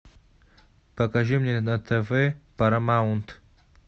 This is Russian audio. покажи мне на тв парамаунт